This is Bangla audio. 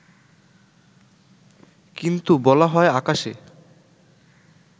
কিন্তু বলা হয় আকাশে